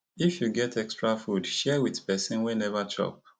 if you get extra food share with person wey neva chop